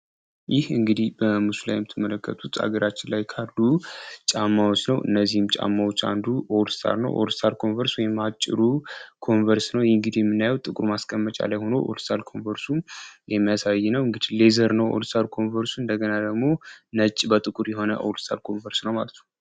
ይህ እንግዲህ በምስሉ የምትመለከቱት አገራችን ላይ ካርዱ ጫማዎች ነው እነዚህም ጫማዎች አንዱ ኦልሳር ነው ኦልሳል ኮንቨርስ ወየማጭሩ ኮንቨርስ ነው የእንግዲ የምናዩው ጥቁር ማስቀመጫ አላይሆኖ ኦልሳል ኮንቨርሱን የሚያሳይ ነው እንግድ ሌዘር ነው ኦልሳል ኮንቨርሱ እንደገና ደግሞ ነጭ በጥቁር የሆነ ኦልሳል ኮንቨርስ ነው ።